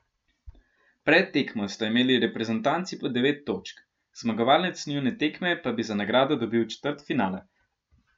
Pred tekmo sta imeli reprezentanci po devet točk, zmagovalec njune tekme pa bi za nagrado dobil četrtfinale.